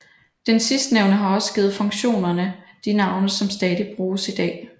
Den sidstnævnte har også givet funktionerne de navne som stadig bruges i dag